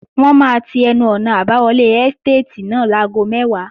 Wọ́n máa ti ẹnu-ọ̀nà àbáwọlé ẹ́stàtì náà láago mẹ́wàá